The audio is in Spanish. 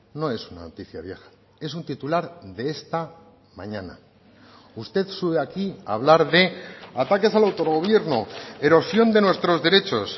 no es una noticia vieja es un titular de esta mañana usted sube aquí a hablar de ataques al autogobierno erosión de nuestros derechos